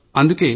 అందుకే